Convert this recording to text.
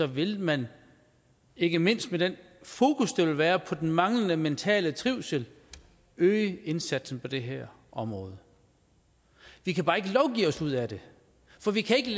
vil man ikke mindst med det fokus der vil være på den manglende mentale trivsel øge indsatsen på det her område vi kan bare ikke lovgive os ud af det for vi kan ikke